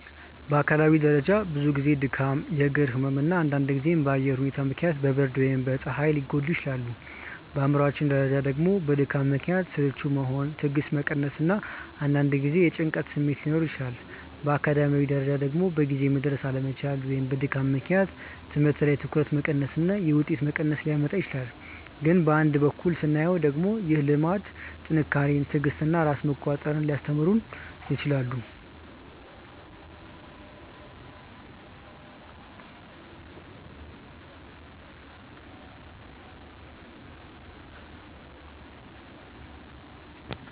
በአካላዊ ደረጃ ብዙ ጊዜ ድካም፣ የእግር ህመም እና አንዳንድ ጊዜም በአየር ሁኔታ ምክንያት በብርድ ወይም በፀሐይ ሊጎዳ ይችላል። በአእምሯዊ ደረጃ ደግሞ በድካም ምክንያት ስልቹ መሆን፣ ትዕግስት መቀነስ እና አንዳንድ ጊዜ የጭንቀት ስሜት ሊኖር ይችላል። በአካዳሚያዊ ደረጃ ደግሞ በጊዜ መድረስ አለመቻል ወይም በድካም ምክንያት ትምህርት ላይ ትኩረት መቀነስ እና የውጤት መቀነስ ሊያመጣ ይችላል። ግን በአንድ በኩል ስናየው ደግሞ ይህ ልምድ ጥንካሬን፣ ትዕግስትን እና ራስን መቆጣጠር ሊያስተምረው ይችላል